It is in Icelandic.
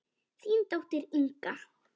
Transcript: Þín dóttir, Inga.